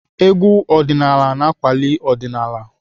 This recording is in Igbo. Egwú ọdịnaala na-akwali ọdịnaala.